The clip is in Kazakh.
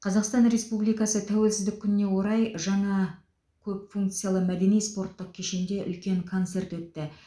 қазақстан республикасы тәуелсіздік күніне орай жаңа көп функциялы мәдени спорттық кешенде үлкен концерт өтті